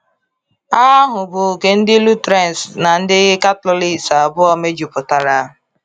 Agha ahụ bụ nke ndị Lutherans na ndị Catholics abụọ mejupụtara.